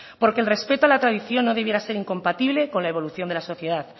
porque el respeto a la tradición no debiera sin incompatible con la evolución de la sociedad